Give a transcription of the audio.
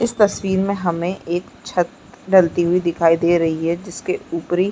इस तस्वीर में हमे एक छत ढलती हुई दिखाई दे रही है जिसके ऊपरी--